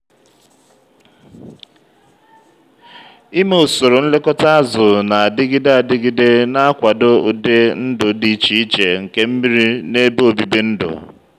ime usoro nlekọta azụ̀ na-adịgide adịgide na-akwado ụdị ndụ dị iche iche nke mmiri na ebe obibi ndụ.